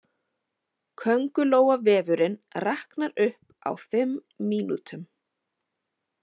Köngulóarvefurinn raknaði upp á fimm mínútum